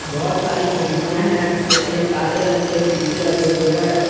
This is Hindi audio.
बहोत सारी खिड़कियां हैं जिनमें काले रंग के सीसे लगे हुए हैं।